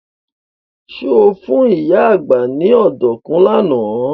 Ṣé o fún ìyá àgbá ní ọ̀dùnkún lánàá?